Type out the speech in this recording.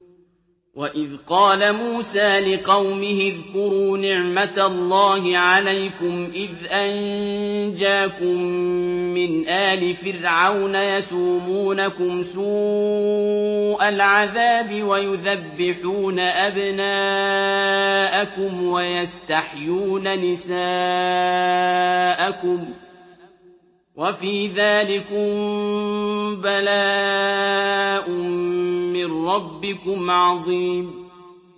وَإِذْ قَالَ مُوسَىٰ لِقَوْمِهِ اذْكُرُوا نِعْمَةَ اللَّهِ عَلَيْكُمْ إِذْ أَنجَاكُم مِّنْ آلِ فِرْعَوْنَ يَسُومُونَكُمْ سُوءَ الْعَذَابِ وَيُذَبِّحُونَ أَبْنَاءَكُمْ وَيَسْتَحْيُونَ نِسَاءَكُمْ ۚ وَفِي ذَٰلِكُم بَلَاءٌ مِّن رَّبِّكُمْ عَظِيمٌ